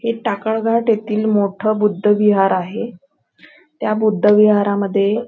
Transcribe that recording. हे टाकाळ घाट येथील मोठ बुद्ध विहार आहे त्या बुद्ध विहारा मध्ये--